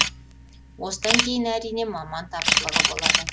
осыдан кейін әрине маман тапшылығы болады